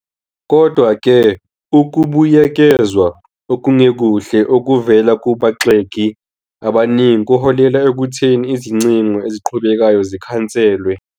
Kodwa-ke, ukubuyekezwa okungekuhle okuvela kubagxeki abaningi kuholele ekutheni izingcingo eziqhubekayo zikhanselwe.